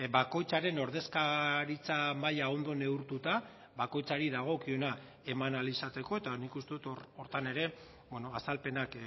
bakoitzaren ordezkaritza maila ondo neurtuta bakoitzari dagokiona eman ahal izateko eta nik uste dut hor horretan ere azalpenak